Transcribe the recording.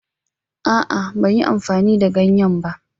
A'a, ban yi amfani da ganye ba.